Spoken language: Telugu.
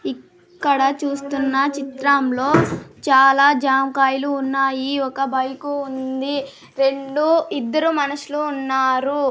ఇ క్కడ చూస్తున్న చిత్రంలో చాలా జామకాయలు ఉన్నయి ఒక బైకు ఉంది రెండు ఇద్దరు మనుషులు ఉన్నారు.